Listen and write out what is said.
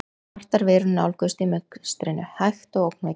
Svartar verur nálguðust í mistrinu, hægt og ógnvekjandi.